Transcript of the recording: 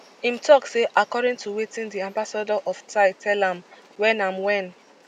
im tok say according to wetin di ambassador of thai tell am wen am wen